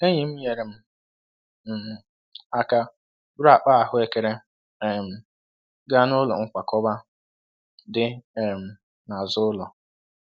Enyi m nyeere um m aka buru akpa ahụekere um gaa n'ụlọ nkwakọba dị um n'azụ ụlọ.